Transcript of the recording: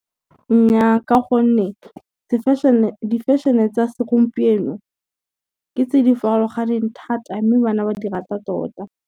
Nnyaa ka gonne di-fashion-e tsa segompieno ke tse di farologaneng thata mme bana ba di rata tota.